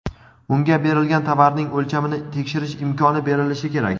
unga berilgan tovarning o‘lchamini tekshirish imkoni berilishi kerak.